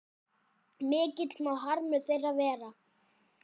Mikill má harmur þeirra vera.